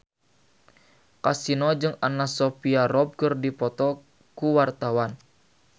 Kasino jeung Anna Sophia Robb keur dipoto ku wartawan